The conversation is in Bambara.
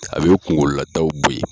A bɛ kungolo lataw bɔ ye.